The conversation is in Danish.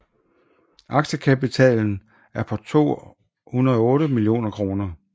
Aktiekapitalen er på 28 millioner kr